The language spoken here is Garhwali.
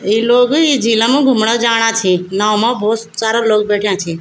ये लोग इं झीलम घूमणा जाना छि नाव मा भोत सारा लोग बैठ्याँ छी।